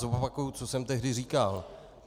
Zopakuju, co jsem tehdy říkal.